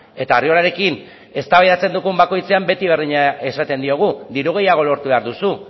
eta arriolarekin eztabaidatzen dugun bakoitzean beti berdina esaten diogu diru gehiago lortu behar duzu